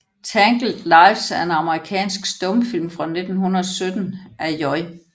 Tangled Lives er en amerikansk stumfilm fra 1917 af J